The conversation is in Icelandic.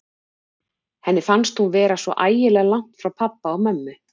Henni fannst hún vera svo ægilega langt frá pabba og mömmu.